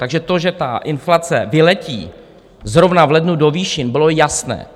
Takže to, že ta inflace vyletí zrovna v lednu do výšin, bylo jasné.